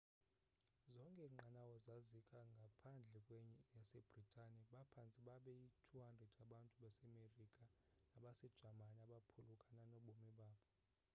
zonke iinqanawa zazika ngaphandle kwenye yasebritani baphantse babeyi-200 abantu basemerika nabasejamani abaphulukana nobomi babo